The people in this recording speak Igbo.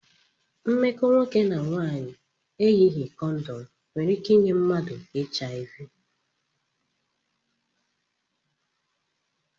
Mmekọ nwoke na nwanyị eyighi kondom nwere ike inye mmadụ